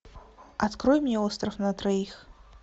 открой мне остров на троих